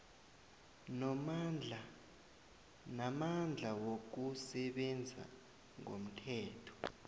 namandla wokusebenza ngomthetho